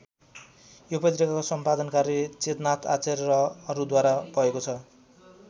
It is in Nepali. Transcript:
यो पत्रिकाको सम्पादन कार्य चेतनाथ आचार्य र अरूद्वारा भएको छ।